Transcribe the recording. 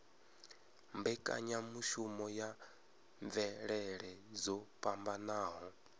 mbekanyamushumo ya mvelele dzo fhambanaho